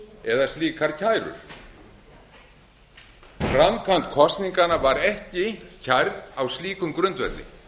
eða slíkar kærur framkvæmd kosninganna var ekki kærð á slíkum grundvelli